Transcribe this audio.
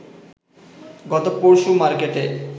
গত পরশু মার্কেটে